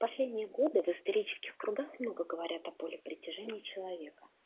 последние годы в исторических кругах много говорят о поле притяжения человека